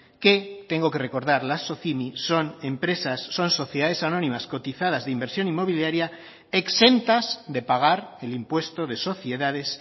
que tengo que recordar las socimi son empresas son sociedades anónimas cotizadas de inversión inmobiliaria exentas de pagar el impuesto de sociedades